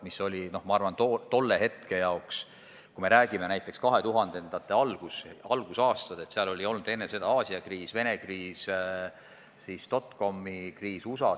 Seda oli tol hetkel – kui me räägime näiteks 2000. aastate algusest – mõjutanud mälupilt Aasia kriisist, Vene kriisist ja USA dotcom'i kriisist.